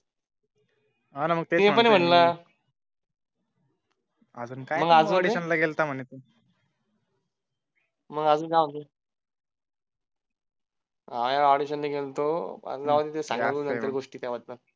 हो ना ते पण अजून हो ऑडिशन ला गेलो होतो जाऊ दे सांगायच्या काय त्या गोष्टी नंतर